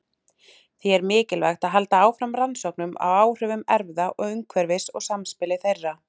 Því er mikilvægt að halda áfram rannsóknum á áhrifum erfða og umhverfis og samspili þeirra.